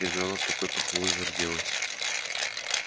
гермиона от такой похвалы зарделась